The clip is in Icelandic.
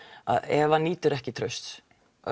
að ef hann nýtur ekki trausts